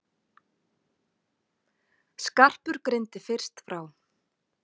Skarpur greindi fyrst frá.